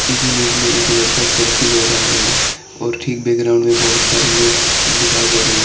इस इमेज में एक लड़का सेल्फी ले रहा है और ठीक बैकग्राउंड में बहोत सारे लोग दिखाई दे रहे--